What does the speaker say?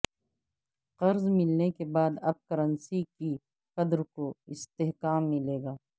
قرض ملنے کے بعد اب کرنسی کی قدر کو استحکام ملے گا